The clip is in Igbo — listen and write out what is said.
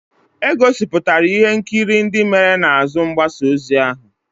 E gosipụtara ihe nkiri ndị mere n'azụ mgbasa ozi ahụ.